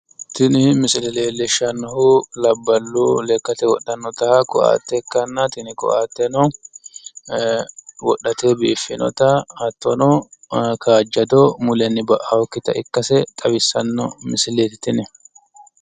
Tini misile leellishshannohu labballu lekkate wodhanno ko'atte ikkanna tini ko'atteno ee wodhate biiffinota hattono kaajjado mulenni ba'annokkita ikkitinota leellishshanno musileeti tini.